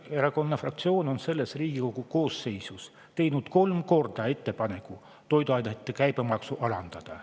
Keskerakonna fraktsioon on selles Riigikogu koosseisus teinud kolm korda ettepaneku toiduainete käibemaksu alandada.